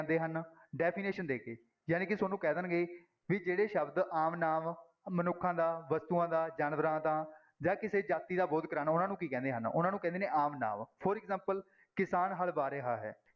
definition ਦੇ ਕੇ ਜਾਣੀ ਕਿ ਤੁਹਾਨੂੰ ਕਹਿ ਦੇਣਗੇ ਵੀ ਜਿਹੜੇ ਸ਼ਬਦ ਆਮ ਨਾਂਵ ਮਨੁੱਖਾਂ ਦਾ, ਵਸਤੂਆਂ ਦਾ, ਜਾਨਵਰਾਂ ਦਾ ਜਾਂ ਕਿਸੇ ਜਾਤੀ ਦਾ ਬੋਧ ਕਰਵਾਉਣ ਉਹਨਾਂ ਨੂੰ ਕੀ ਕਹਿੰਦੇ ਹਨ, ਉਹਨਾਂ ਨੂੰ ਕਹਿੰਦੇ ਨੇ ਆਮ ਨਾਂਵ for example ਕਿਸਾਨ ਹਲ ਵਾਹ ਰਿਹਾ ਹੈ।